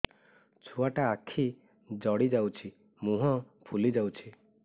ଛୁଆଟା ଆଖି ଜଡ଼ି ଯାଉଛି ମୁହଁ ଫୁଲି ଯାଉଛି